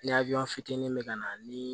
fitinin bɛ ka na ni